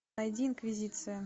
найди инквизиция